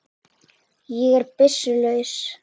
Ég er byssu laus.